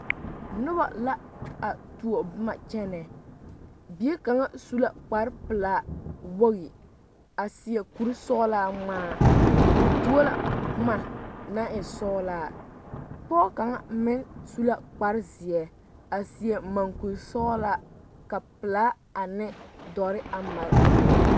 Noba la a tuo boma kyɛnɛ bie kaŋa su la kparepelaa wogi a seɛ kurisɔglaa ŋmaa o tuo la boma naŋ e sɔglaa pɔge kaŋa meŋ su la kparezeɛ a seɛ maŋkuri sɔglaa ka pelaa ane dɔre a mare o eŋɛ.